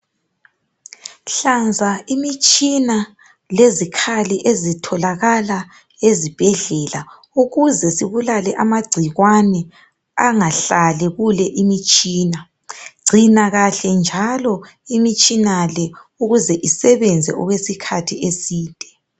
Hlanza imitshina lezikhali ezitholakala ezibhedlela ukuze zibulalale amagcikwane angahlali kule imitshina. Gcina kahle njalo imitshina le ukuze isebenza okwesikhathi eside.